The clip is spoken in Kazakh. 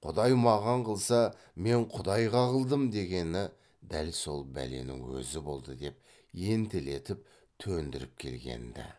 құдай маған қылса мен құдайға қылдым дегені дәл сол бәленің өзі болды деп ентелетіп төндіріп келген ді